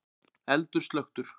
Eldur slökktur